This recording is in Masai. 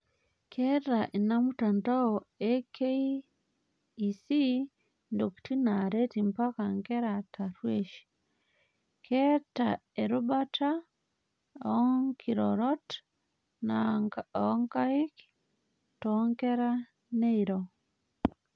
Keeta ina mtandao eKEC intokitin naaret mpaka nkera tarruesh. Keeta erubata oonkirorrot oonkaik toonkera neiro